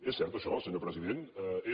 és cert això senyor president és